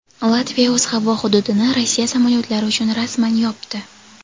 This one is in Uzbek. Latviya o‘z havo hududini Rossiya samolyotlari uchun rasman yopdi.